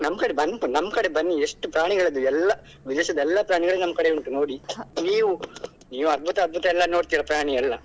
ನಮ್ಮ ಕಡೆ ಬನ್ನಿ ನಮ್ಮ ಕಡೆ ಬನ್ನಿ ಎಷ್ಟು ಪ್ರಾಣಿಗಳು ಇದೆ ಎಲ್ಲ ವಿದೇಶದ ಎಲ್ಲ ಪ್ರಾಣಿಗಳು ನಮ್ಮ ಕಡೆ ಉಂಟು ನೋಡಿ ನೀವು ನೀವು ಅಧ್ಭುತ ಅಧ್ಭುತ ಎಲ್ಲಾ ನೋಡ್ತಿರಾ ಪ್ರಾಣಿ ಎಲ್ಲ.